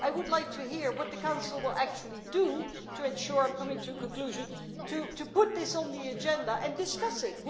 I would like to hear what the Council will actually do to ensure and I am coming to a conclusion to put this on the agenda and discuss it.